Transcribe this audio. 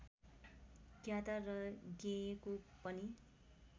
ज्ञाता र ज्ञेयको पनि